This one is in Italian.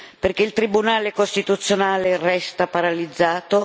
perché il Tribunale costituzionale resta paralizzato